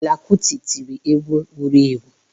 Fela kuti tiri egwu wuru ewu.